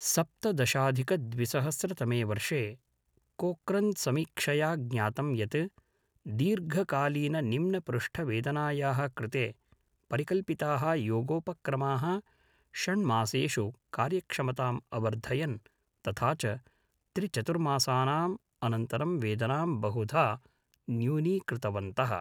सप्तदशाधिकद्विसहस्रतमे वर्षे, कोक्रन्समीक्षया ज्ञातं यत्, दीर्घकालीननिम्नपृष्ठवेदनायाः कृते परिकल्पिताः योगोपक्रमाः षण्मासेषु कार्यक्षमताम् अवर्धयन्, तथा च त्रिचतुर्मासानाम् अनन्तरं वेदनां बहुधा न्यूनीकृतवन्तः।